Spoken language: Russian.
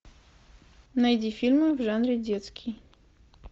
найди фильмы в жанре детский